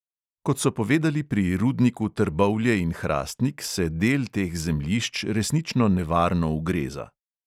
Kot so povedali pri rudniku trbovlje in hrastnik, se del teh zemljišč resnično nevarno ugreza.